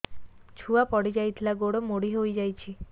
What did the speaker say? ଛୁଆ ପଡିଯାଇଥିଲା ଗୋଡ ମୋଡ଼ି ହୋଇଯାଇଛି